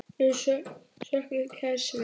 Við söknum kærs vinar.